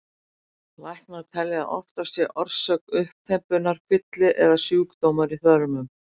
Læknar telja að oftast sé orsök uppþembunnar kvilli eða sjúkdómur í þörmum.